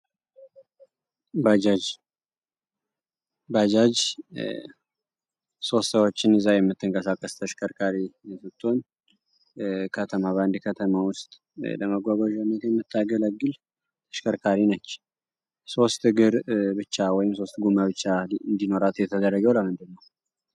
ባጃጅ ተሽከርካሪ ከተማ በአንድ ከተማ ውስጥ ለመጓጓ ር ብቻ ወይም ሶማሌ እንዲኖራት የተደረገው ለምንድነው